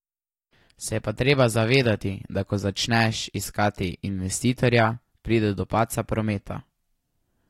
Se je pa treba zavedati, da ko začneš iskati investitorja, pride do padca prometa.